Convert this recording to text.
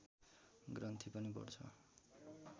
ग्रन्थि पनि बढ्छ